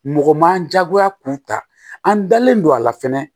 Mɔgɔ man jagoya k'u ta an dalen don a la fɛnɛ